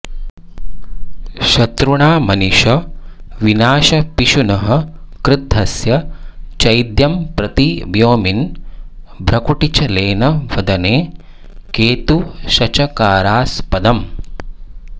शत्रुणामनिश विनाशपिशुनः क्रुद्धस्य चैद्यं प्रति व्योम्नि भ्रकुटिच्छलेन वदने केतुशचकारास्पदम्